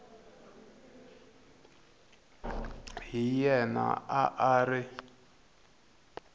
hi yena a a ri